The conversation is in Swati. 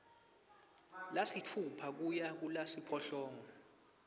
lasitfupha kuya kulasiphohlongo